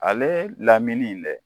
Ale lamini dɛ